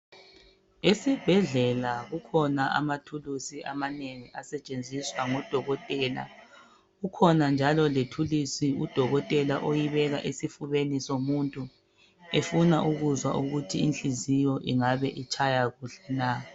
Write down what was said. Esibhedlela kukhona amathulusi amanengi asetshenziswa ngodokotela kukhona njalo lethulusi udokotela ayibeka esifubeni somuntu efuna ukuzwa ukuthi inhliziyo ingabe itshaya kuhle na.